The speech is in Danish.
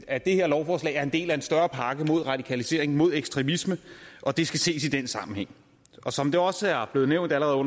at det her lovforslag er en del af en større pakke mod radikalisering og mod ekstremisme og det skal ses i den sammenhæng som det også er blevet nævnt allerede af